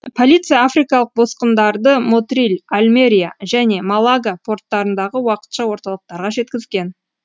полиция африкалық босқындарды мотриль альмериа және малага порттарындағы уақытша орталықтарға жеткізген